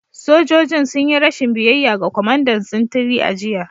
Sojojin sun yi rashin biyayya ga kwamandan sintiri a jiya